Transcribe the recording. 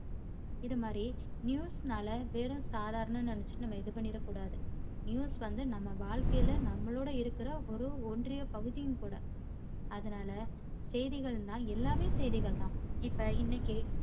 இது மாதிரி news னால வெறும் சாதாரணம்னு நெனச்சிட்டு நம்ம இது பன்னிரக்கூடாது news வந்து நம்ம வாழ்க்கையில நம்மளோட இருக்கிற ஒரு ஒன்றிய பகுதியும் கூட. அதனால செய்திகள்ன்னா எல்லாமே செய்திகள் தான் இப்போ இன்னைக்கு